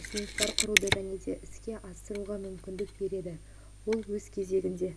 ұсыныстар құруды және іске асыруға мүмкіндік береді ол өз кезегінде